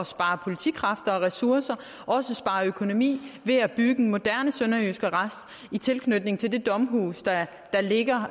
spare politikræfter og ressourcer og også spare økonomi ved at bygge en moderne sønderjysk arrest i tilknytning til det domhus der ligger